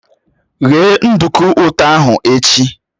Ghe nduku ụtọ ahụ echi!